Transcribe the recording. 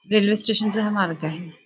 Railway station चा हा मार्ग आहे.